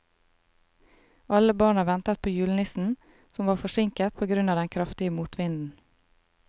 Alle barna ventet på julenissen, som var forsinket på grunn av den kraftige motvinden.